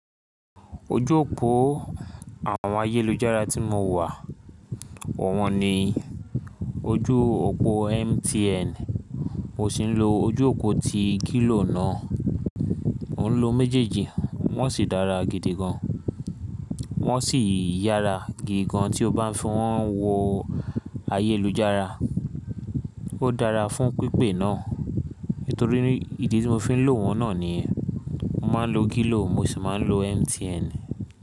Ojú òpó àwọn ayélujára tí mo wà, wọ́n ni ojú òpó MTN, mo sì ń lo ojú òpó ti glo náà. Mo ń lo méjèèjì wọ́n sì dára gidi gan. Wọ́n sì yára gidi gan tí o bá fín wọ́n wo ayélujára. Ó dára fún pípé náà, nítorí ìdí tí mo fi ń lò wọ́n náà ni mo máa ń lo Glo mo sì máa ń lo MTN.